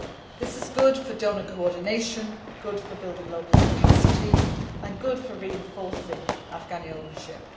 This is good for donor coordination, good for building local capacity and good for reinforcing Afghani ownership.